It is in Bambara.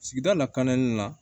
Sigida lakananin la